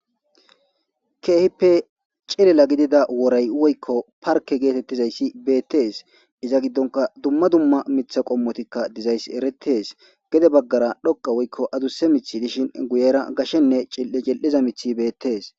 Kehippe cilila gidida worayi woyikko parke getettizayissa betess.izza gidonn dumma dumma miththa qommoti dizayiss eretees gede bagara dhoqqa woyikko addussa miththi dishshin guyera gashshenne cili'iza miththi betees.